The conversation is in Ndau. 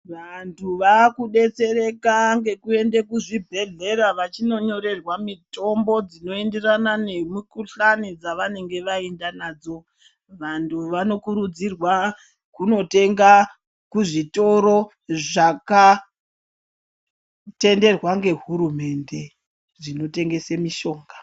Vantu vaku betsereka ngeku ende kuzvi bhedhlera vachino nyorerwa mitombo dzino enderana nemi kudhlani dzavanenge vaenda nadzo vantu vano kurudzirwa kuno tenga ku zvitorwa zvaka tenderwa nge hurumende zvino tengese mishonga.